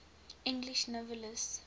english novelists